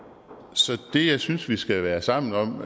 så det jeg synes vi skal være sammen om